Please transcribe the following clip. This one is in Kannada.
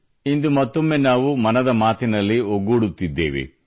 ಇಂದು ಮತ್ತೊಮ್ಮೆ ನಾವು ಮನದ ಮಾತಿನಲ್ಲಿ ಒಗ್ಗೂಡುತ್ತಿದ್ದೇವೆ